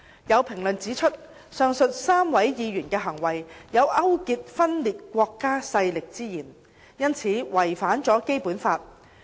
有評論指出，上述3位議員的行為有勾結分裂國家勢力之嫌，因此違反了《基本法》。